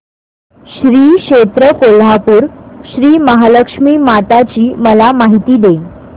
श्री क्षेत्र कोल्हापूर श्रीमहालक्ष्मी माता ची मला माहिती दे